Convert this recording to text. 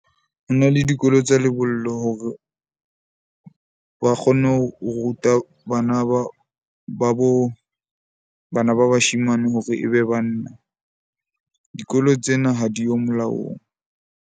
Ho na le dikolo tsa lebollo hore ba kgone ho ruta, bana ba bo bana ba bashemane hore e be banna. Dikolo tsena ha di yo molaong.